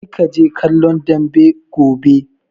Kar kaje kallon dambe gobe!